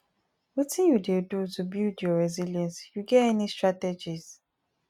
wetin you dey do to build your resilience you get any strategies